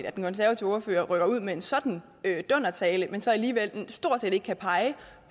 at den konservative ordfører rykker ud med sådan en dundertale men så alligevel stort set ikke kan pege